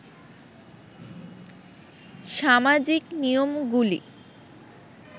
সামাজিক নিয়মগুলি